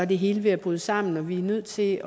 det hele ved at bryde sammen og vi er nødt til at